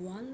ওয়াল